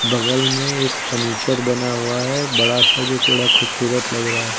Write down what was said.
बगल में एक फर्नीचर बना हुआ है बड़ा सा जो बड़ा खूबसूरत लग रहा है।